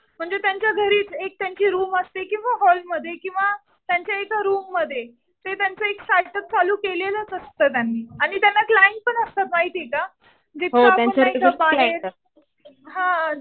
म्हणजे त्यांच्या घरी, एक त्यांची रुम असते किंवा हॉल मध्ये किंवा त्यांच्या एक रूममध्ये. ते त्यांचं एक स्टार्ट अप चालू केलेलंच असतं त्यांनी. आणि त्यांना क्लाइंट पण असतं माहितीये का. हा.